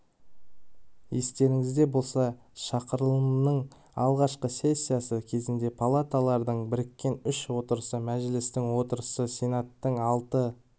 естеріңізде болса шақырылымның алғашқы сессиясы кезінде палаталардың біріккен үш отырысы мәжілістің отырысы сенаттың алты